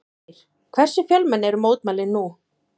Ásgeir, hversu fjölmenn eru mótmælin nú?